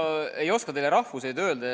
Ma ei oska teile rahvuseid öelda.